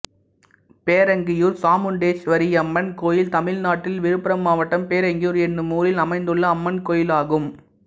பேரங்கியூர் சாமுண்டீஸ்வரியம்மன் கோயில் தமிழ்நாட்டில் விழுப்புரம் மாவட்டம் பேரங்கியூர் என்னும் ஊரில் அமைந்துள்ள அம்மன் கோயிலாகும்